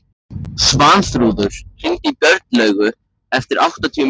Svanþrúður, hringdu í Björnlaugu eftir áttatíu mínútur.